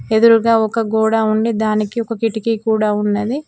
ఎదురుగా ఒక గోడ ఉండి దానికి ఒక కిటికీ కూడా ఉన్నది.